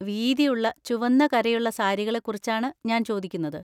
വീതിയുള്ള ചുവന്ന കരയുള്ള സാരികളെക്കുറിച്ചാണ് ഞാൻ ചോദിക്കുന്നത്.